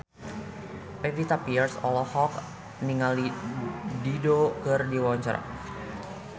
Pevita Pearce olohok ningali Dido keur diwawancara